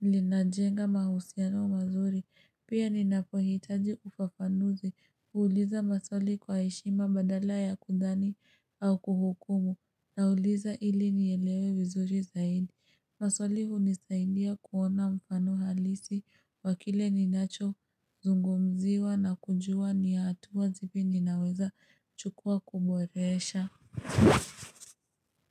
linajenga mahusiano mazuri, pia ninapohitaji ufafanuzi, kuuliza maswali kwa heshima badala ya kudhani au kuhukumu. Nauliza ili nielewe vizuri zaidi. Maswali hunisaidia kuona mfano halisi wakile ninacho zungumziwa na kujua ni hatua zipi ninaweza chukua kuboresha.